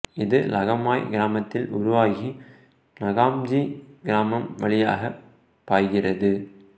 இது லகமாய் கிராமத்தில் உருவாகி நகாம்ஜு கிராமம் வழியாகப் பாய்கிறது